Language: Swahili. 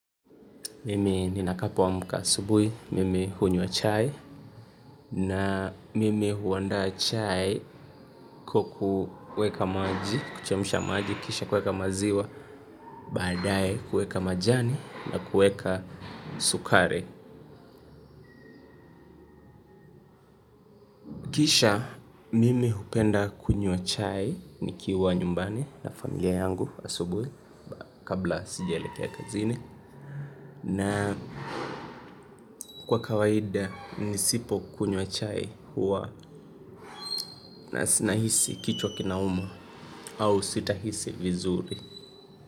Mimi ninapoamka asubui, mimi hunywa chai. Na mimi huandaa chai kwa kuweka maji, kuchemsha maji, kisha kuweka maziwa. Baadaye kuweka majani na kuweka sukari. Kisha mimi hupenda kunywa chai nikiwa nyumbani na familia yangu asubui. Kabla sijaelekea kazini na kwa kawaida nisipokunywa chai huwa nahisi kichwa kinauma au sitahisi vizuri.